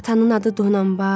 Atanın adı Donanbay.